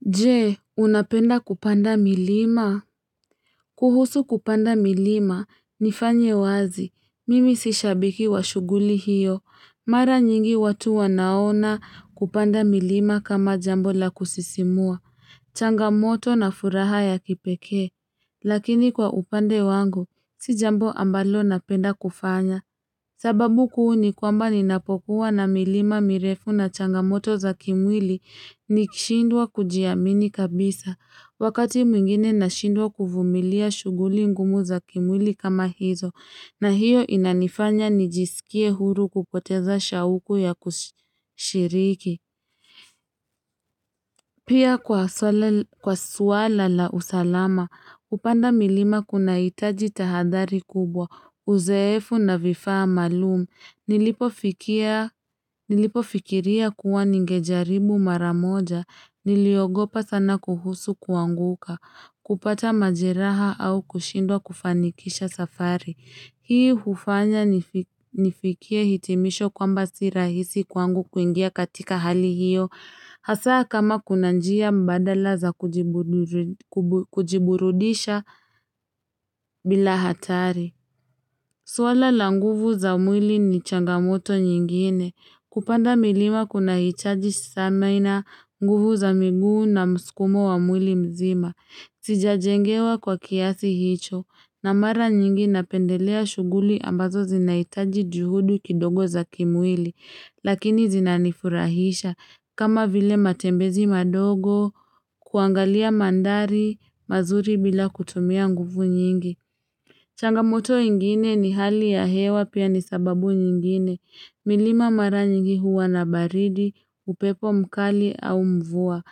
Je, unapenda kupanda milima? Kuhusu kupanda milima, nifanye wazi, mimi si shabiki wa shughuli hiyo, mara nyingi watu wanaona kupanda milima kama jambo la kusisimua, changamoto na furaha ya kipekee, lakini kwa upande wangu, si jambo ambalo napenda kufanya. Sababu kuu ni kwamba ninapokuwa na milima mirefu na changamoto za kimwili ni kishindwa kujiamini kabisa, wakati mwingine na shindwa kuvumilia shughuli ngumu za kimwili kama hizo, na hiyo inanifanya nijisikie huru kupoteza shauku ya kusi kushiriki. Pia kwa swala kwa suala la usalama, kupanda milima kunahitaji tahadhari kubwa, uzeefu na vifaa maalum Nilipo fikiria kuwa ningejaribu mara moja, niliogopa sana kuhusu kuanguka, kupata majeraha au kushindwa kufanikisha safari. Hii hufanya nifiki nifikie hitimisho kwamba si rahisi kwangu kuingia katika hali hiyo. Hasaa kama kuna njia mbadala za kujiburiu kujiburudisha bila hatari. Swala la nguvu za mwili ni changamoto nyingine. Kupanda milima kuna hichaji stamina nguvu za miguu na muskumo wa mwili mzima. Sijajengewa kwa kiasi hicho. Na mara nyingi napendelea shughuli ambazo zinaitaji juhudi kidogo za kimwili. Lakini zinanifurahisha kama vile matembezi madogo kuangalia mandhari mazuri bila kutumia nguvu nyingi. Changamoto ingine ni hali ya hewa pia ni sababu nyingine. Milima mara nyingi huwa na baridi, upepo mkali au mvua.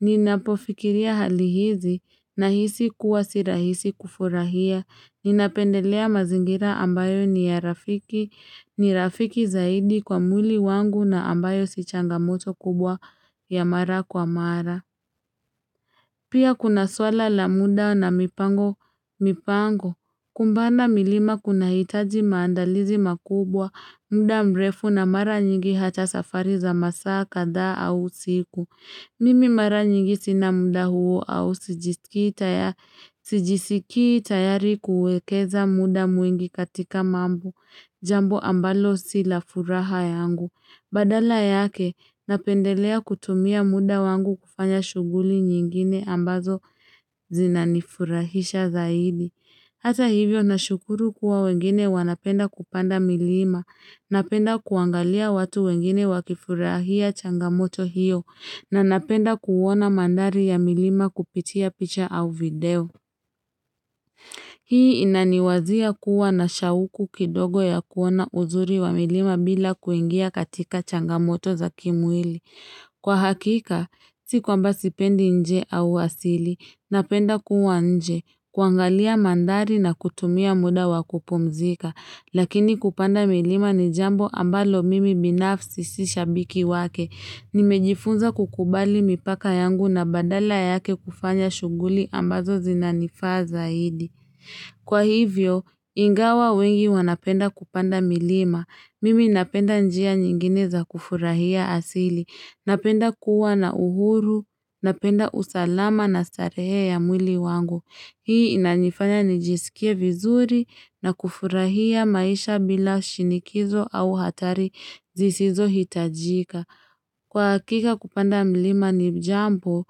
Ninapofikiria hali hizi na hisi kuwa si rahisi kufurahia. Ninapendelea mazingira ambayo ni ya rafiki. Ni rafiki zaidi kwa mwili wangu na ambayo si changamoto kubwa ya mara kwa mara. Pia kuna swala la muda na mipango mipango. Kumbana milima kuna hitaji maandalizi makubwa, muda mrefu na mara nyingi hata safari za masaa kadhaa au usiku. Mimi mara nyingi sina mda huo au sijisikii taya sijisikii tayari kuekeza muda mwingi katika mambo Jambo ambalo sila furaha yangu. Badala yake, napendelea kutumia muda wangu kufanya shuguli nyingine ambazo zinanifurahisha zaidi. Hata hivyo na shukuru kuwa wengine wanapenda kupanda milima. Napenda kuangalia watu wengine wakifurahia changamoto hiyo. Na napenda kuona mandhari ya milima kupitia picha au video. Hii inaniwazia kuwa na shauku kidogo ya kuona uzuri wa milima bila kuingia katika changamoto za kimwili. Kwa hakika, si kwamba sipendi nje au wasili. Napenda kuwa nje, kuangalia mandhari na kutumia muda wakupumzika. Lakini kupanda milima ni jambo ambalo mimi binafsi sishabiki wake. Nimejifunza kukubali mipaka yangu na badala yake kufanya shughuli ambazo zinanifaa zaidi. Kwa hivyo, ingawa wengi wanapenda kupanda milima. Mimi napenda njia nyingine za kufurahia asili. Napenda kuwa na uhuru. Napenda usalama na starehe ya mwili wangu. Hii inanyifanya nijisikie vizuri na kufurahia maisha bila shinikizo au hatari zisizo hitajika. Kwa hakika kupanda mlima ni jambo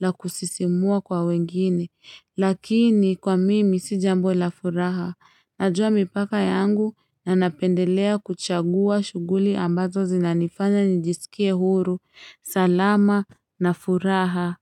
la kusisimua kwa wengine, lakini kwa mimi si jambo la furaha. Najua mipaka yangu na napendelea kuchagua shughuli ambazo zinanifanya nijisikie huru. Salama na furaha.